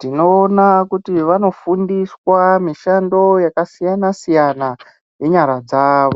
tinoona kuti vanofundiswa mishando yakasiyanasiyana yenyara dzavo.